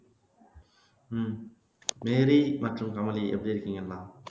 உம் Mary மற்றும் கமலி எப்படி இருக்கீங்கம்மா?